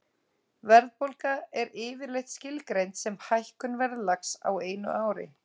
Verðbólga er yfirleitt skilgreind sem hækkun verðlags á einu ári.